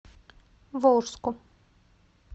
волжску